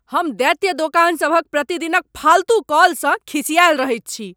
हम दैत्य दोकान सभ क प्रतिदिन क फालतू कॉलसँ खिसाआएल रहैत छी।